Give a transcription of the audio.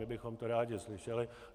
My bychom to rádi slyšeli.